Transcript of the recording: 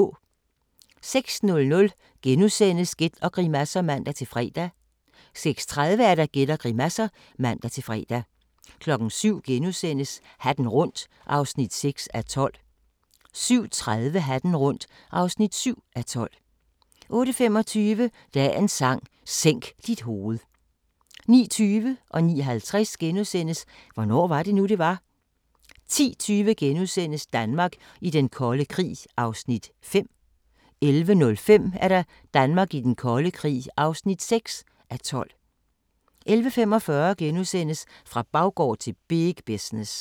06:00: Gæt og grimasser *(man-fre) 06:30: Gæt og grimasser (man-fre) 07:00: Hatten rundt (6:12)* 07:30: Hatten rundt (7:12) 08:25: Dagens Sang: Sænk dit hoved 09:20: Hvornår var det nu, det var? * 09:50: Hvornår var det nu, det var? * 10:20: Danmark i den kolde krig (5:12)* 11:05: Danmark i den kolde krig (6:12) 11:45: Fra baggård til big business *